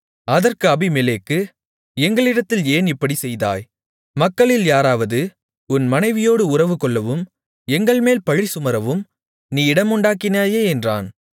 அதற்கு அபிமெலேக்கு எங்களிடத்தில் ஏன் இப்படிச் செய்தாய் மக்களில் யாராவது உன் மனைவியோடு உறவுகொள்ளவும் எங்கள்மேல் பழி சுமரவும் நீ இடமுண்டாக்கினாயே என்றான்